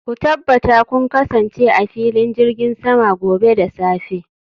ku tabbata kun kasance a filin jirgin sama gobe da safe